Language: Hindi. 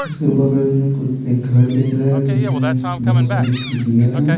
इसके बगल में कुछ एक घर दिख रहा है जिसमें बहुत सारी खिड़कियाँ हैं।